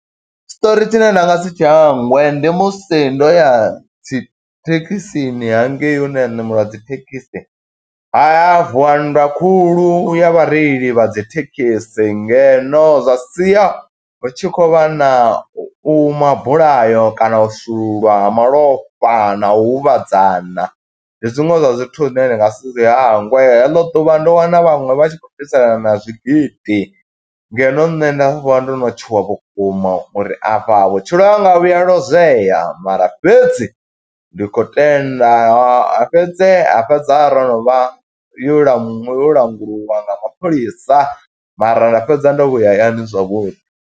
Tshiṱori tshine nda nga si tshi hangwe, ndi musi ndo ya dzi thekhisini hangei hune ya ṋameliwa dzi thekhisi. Ha ya ha vuwa nndwa khulu, ya vhareili vha dzi thekhisi ngeno zwa sia hu tshi khou vha na u mabulayo, kana u shululwa ha malofha na u huvhadzana. Ndi zwiṅwe zwa zwithu zwine ndi nga si zwi hangwe, he ḽo ḓuvha ndo wana vhaṅwe vha tshi khou bviselana na zwigidi, ngeno nṋe nda vha ndo no tshuwa vhukuma, uri afha vhutshilo hanga vhuya lozweya, mara fhedzi ndi khou tenda. Fhedzi. ha fhedza ro no vha, yo lanu yo langulwa nga mapholisa, mara nda fhedza ndo vhuya hayani zwavhuḓi.